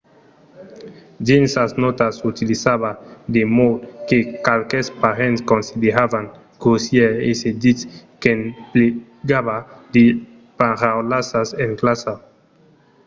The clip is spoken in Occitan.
dins sas nòtas utilizava de mots que qualques parents consideravan grossièrs e se ditz qu'emplegava de paraulassas en classa